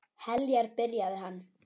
Heljar, byrjaði hann.